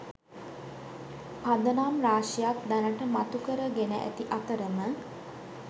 පදනම් රාශියක් දැනට මතු කර ගෙන ඇති අතරම